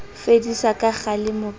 ho fediswa ha kgalemo ka